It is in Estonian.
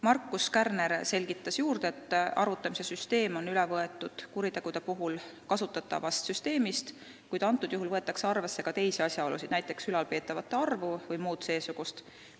Markus Kärner selgitas, et arvutamise süsteem on üle võetud kuritegude korral kasutatavast süsteemist, kuid arvesse võetakse ka teisi asjaolusid, näiteks ülalpeetavate arvu vms.